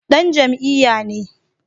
Dan jam'iyya ne